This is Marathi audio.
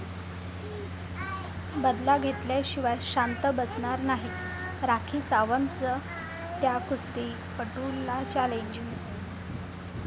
बदला घेतल्याशिवाय शांत बसणार नाही, राखी सावंतचं त्या कुस्तीपटूला चॅलेंज